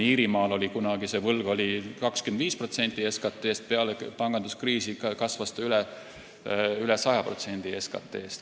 Iirimaal oli võlg kunagi 25% SKT-st ja peale panganduskriisi kasvas see üle 100% SKT-st.